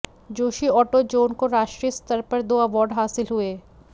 Joshi auto zone को राष्ट्रीय स्तर पर दो अवार्ड हासिल हुए